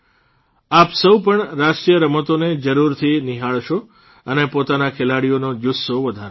આપ સૌ પણ રાષ્ટ્રીય રમતોને જરૂરથી નિહાળશો અને પોતાના ખેલાડીઓનો જૂસ્સો વધારશો